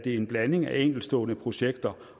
en blanding af enkeltstående projekter